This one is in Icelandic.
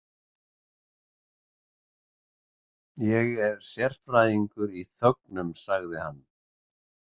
Ég er sérfræðingur í þögnum, sagði hann.